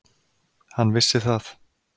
Hann vissi það.